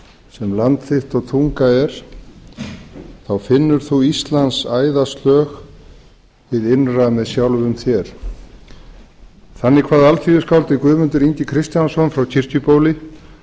sem land þitt og tunga er þá finnur þú íslands æðaslög hið innra með sjálfum þér þannig kvað alþýðuskáldið guðmundur ingi kristjánsson frá kirkjubóli